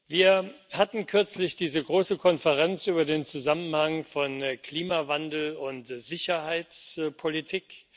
Wir hatten kürzlich diese große Konferenz über den Zusammenhang von Klimawandel und Sicherheitspolitik.